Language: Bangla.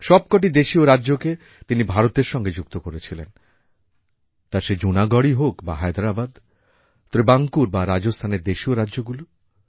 সব কটি দেশীয় রাজ্যকে তিনি ভারতের সঙ্গে যুক্ত করেছিলেন তা সে জুনাগড়ই হোক বা হায়দরাবাদ ত্রিবাংকুর বা রাজস্থানের দেশীয় রাজ্যগুলি